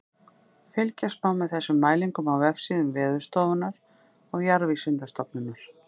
Fylgjast má með þessum mælingum á vefsíðum Veðurstofunnar og Jarðvísindastofnunar.